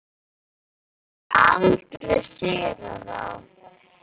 Þá getum við aldrei sigrað þá.